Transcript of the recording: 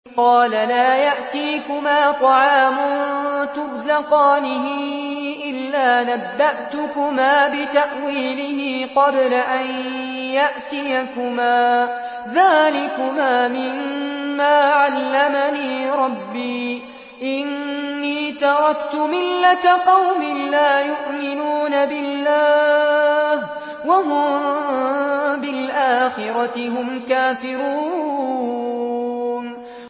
قَالَ لَا يَأْتِيكُمَا طَعَامٌ تُرْزَقَانِهِ إِلَّا نَبَّأْتُكُمَا بِتَأْوِيلِهِ قَبْلَ أَن يَأْتِيَكُمَا ۚ ذَٰلِكُمَا مِمَّا عَلَّمَنِي رَبِّي ۚ إِنِّي تَرَكْتُ مِلَّةَ قَوْمٍ لَّا يُؤْمِنُونَ بِاللَّهِ وَهُم بِالْآخِرَةِ هُمْ كَافِرُونَ